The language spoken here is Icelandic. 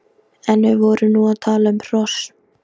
En við vorum nú að tala um hross.